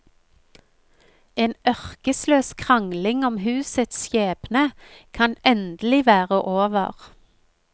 En ørkesløs krangling om husets skjebne kan endelig være over.